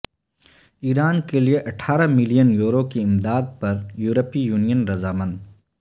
ایران کے لیے اٹھارہ ملین یورو کی امداد پر یورپی یونین رضامند